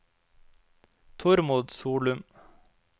Tormod Solum